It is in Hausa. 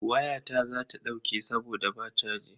Wayata za ta dauke saboda ba chaji.